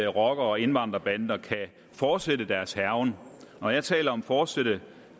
rocker og indvandrerbander kan fortsætte deres hærgen når jeg taler om fortsætte